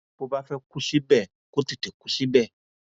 bó bá fẹẹ kú síbẹ kó tètè kú síbẹ